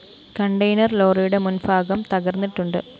container ലോറിയുടെ മുന്‍ഭാഗം തകര്‍ന്നിട്ടുണ്ട്